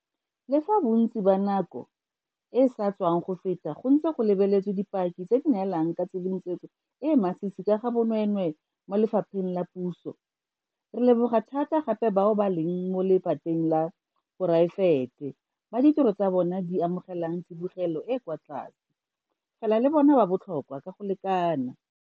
Le fa bontsi ba nako e e sa tswang go feta go ntse go lebeletswe dipaki tse di neelang ka tshedimosetso e e masisi ka ga bonweenwee mo lephateng la puso, re leboga thata gape bao ba leng mo lephateng la poraefete bao ditiro tsa bona di amogelang tsibogelo e e kwa tlase, fela le bona ba botlhokwa ka go lekana.